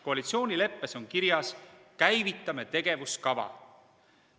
Koalitsioonileppes on kirjas, et käivitame tegevuskava.